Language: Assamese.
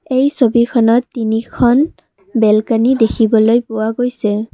এই ছবিখনত তিনিখন বেলকনি দেখিবলৈ পোৱা গৈছে।